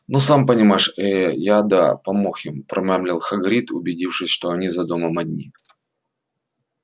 ну сам понимаешь ээ я да помог им промямлил хагрид убедившись что они за домом одни